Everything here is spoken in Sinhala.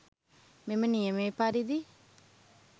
මෙම නියමය පරිදි